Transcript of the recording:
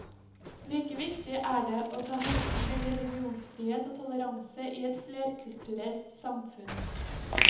Like viktig er det å ta hensyn til religionsfrihet og toleranse i et flerkulturelt samfunn.